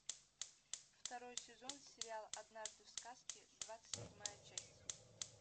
второй сезон сериал однажды в сказке двадцать седьмая часть